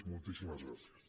moltíssimes gràcies